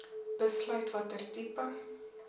besluit watter tipe